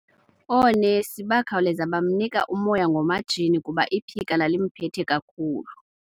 Oonesi bakhawuleza bamnika umoya ngomatshini kuba iphika lalimphethe kakubi.